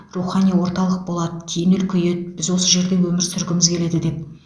рухани орталық болады кейін үлкейеді біз осы жерде өмір сүргіміз келеді деп